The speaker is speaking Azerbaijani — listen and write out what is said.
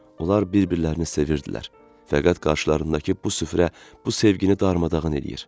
Onlar bir-birlərini sevirdilər, fəqət qarşılarındakı bu süfrə bu sevgini darmadağın edir.